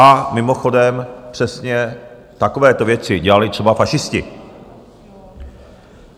A mimochodem přesně takovéto věci dělali třeba fašisti.